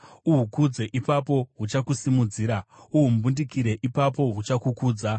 Uhukudze; ipapo huchakusimudzira; uhumbundikire, ipapo huchakukudza.